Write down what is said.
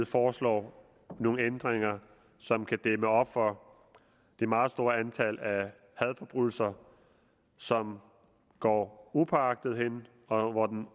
foreslår nogle ændringer som kan dæmme op for det meget store antal af hadforbrydelser som går upåagtet hen og